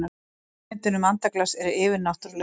hugmyndin um andaglas er yfirnáttúrleg